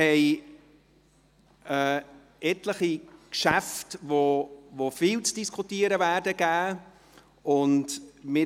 Wir haben etliche Geschäfte, welche viel zu diskustieren geben werden.